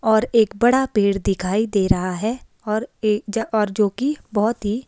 और एक बड़ा पेड़ दिखाई दे रहा है और एक और जो की बहोत ही--